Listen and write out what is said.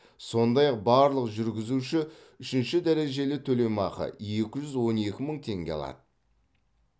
сондай ақ барлық жүргізуші үшінші дәрежелі төлемақы екі жүз он екі мың теңге алады